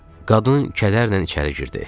Qadın kədərlə içəri girdi.